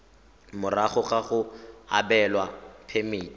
morago ga go abelwa phemiti